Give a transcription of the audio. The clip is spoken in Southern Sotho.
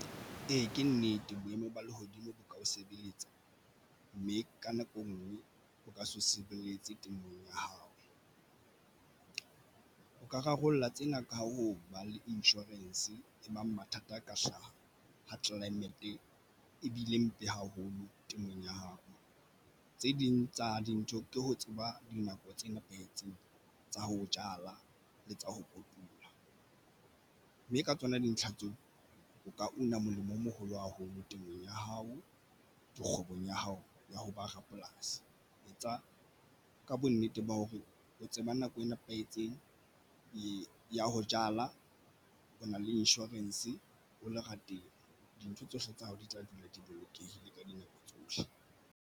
Ee, ke nnete boemo ba lehodimo bo ka o sebeletsa, mme ka nako e nngwe o ka se sebeletse temong ya hao. O ka rarollla tsena ka ho ba le insurance e bang mathata ka hlaha ho climate e bile mpe haholo temong ya hao. Tse ding tsa dintho ke ho tseba dinako tse nepahetseng tsa ho jala le tsa ho kotula, mme ka tsona dintlha tseo o ka una molemo o moholo haholo temong ya hao di kgwebong ya hao ya ho ba rapolasi. Etsa ka bonnete ba hore o tseba nako e nepahetseng ya ho jala. Ho na le insurance o lerateng, dintho tsohle tsa hao di tla dula di bolokehile ka dinako tsohle.